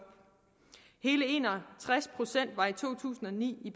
hele en og tres procent var i to tusind og ni i